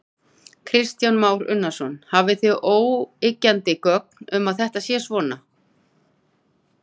Kristján Már Unnarsson: Hafið þið óyggjandi gögn um að þetta sé svona?